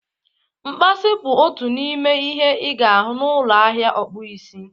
Mkpasi bụ otu n'ime ihe ị ga-ahụ na ụlọ ahịa ọkpụ isi